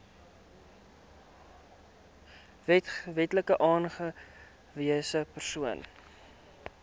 wetlik aangewese persoon